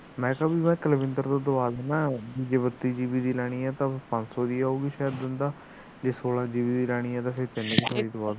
ਮੈ ਤਾ ਤੈਨੂੰ ਕੁਲਵਿੰਦਰ ਤੋਂ ਦਿਲਾ ਦਿਨਾ ਬੱਤੀ GB ਦੀ ਲੈਣੀ ਹੈ ਤਾਂ ਪੰਜ ਸੋ ਦੀ ਆਵੇਗੀ ਜੇ ਸੋਲਾ GB ਦੀ ਲੈਣੀ ਹੈ ਤਾਂ ਤਿੰਨ ਸੋ ਦੀ ਦੁਆ ਦੁਗਾ